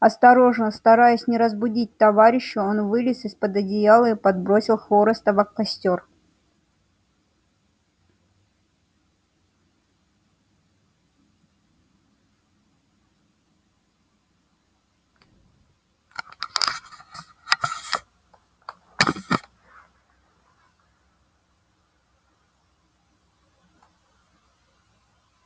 осторожно стараясь не разбудить товарища он вылез из под одеяла и подбросил хвороста в костёр